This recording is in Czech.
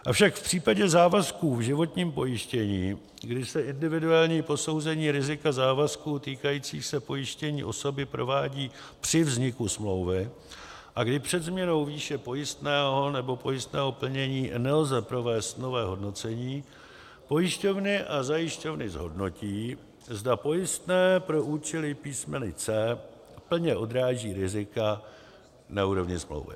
Avšak v případě závazků v životním pojištění, kdy se individuální posouzení rizika závazků týkajících se pojištěné osoby provádí při vzniku smlouvy a kdy před změnou výše pojistného nebo pojistného plnění nelze provést nové hodnocení, pojišťovny a zajišťovny zhodnotí, zda pojistné pro účely písmene c) plně odráží rizika na úrovni smlouvy.